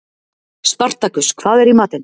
Spartakus, hvað er í matinn?